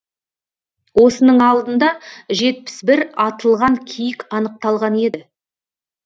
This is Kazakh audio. осының алдында жетпіс бір атылған киік анықталған еді